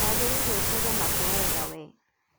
wagũrĩire ũtege matũ wega we.